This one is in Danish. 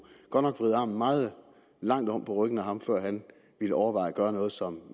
vride armen meget langt om på ryggen af ham før han ville overveje at gøre noget som